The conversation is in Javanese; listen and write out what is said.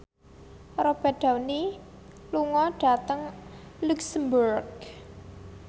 Robert Downey lunga dhateng luxemburg